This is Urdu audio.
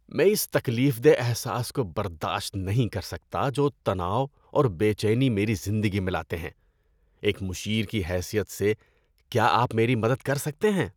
میں اس تکلیف دہ احساس کو برداشت نہیں کر سکتا جو تناؤ اور بے چینی میری زندگی میں لاتے ہیں۔ ایک مشیر کی حیثیت سے، کیا آپ میری مدد کر سکتے ہیں؟